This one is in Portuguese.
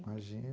Imagi